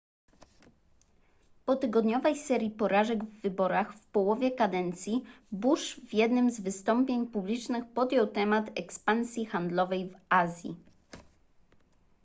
po tygodniowej serii porażek w wyborach w połowie kadencji bush w jednym z wystąpień publicznych podjął temat ekspansji handlowej w azji